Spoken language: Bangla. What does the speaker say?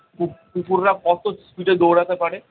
কু কুকুর রা কত speed এ দৌঁড়াতে পারে